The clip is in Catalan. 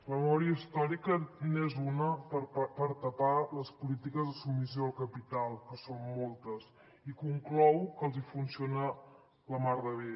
la memòria històrica n’és una per tapar les polítiques de submissió al capital que són moltes i conclou que els funciona la mar de bé